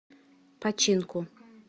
починку